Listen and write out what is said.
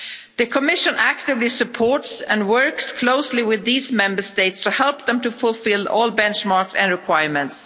The Commission actively supports and works closely with these Member States to help them to fulfil all benchmarks and requirements.